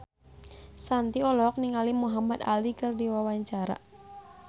Shanti olohok ningali Muhamad Ali keur diwawancara